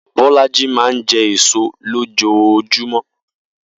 Bó̩lájí máa ń je̩ èso lójoojúmó̩